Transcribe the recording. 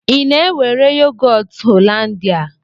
Ị na-ewere yogọt Hollanda?